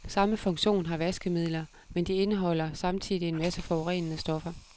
Samme funktion har vaskemidler, men de indeholder samtidig en masse forurenende stoffer.